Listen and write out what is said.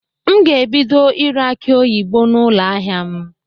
M ga-ebido ire akị oyibo n'ụlọ ahịa m.